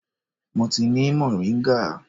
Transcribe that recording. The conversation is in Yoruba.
Mo ni moringa.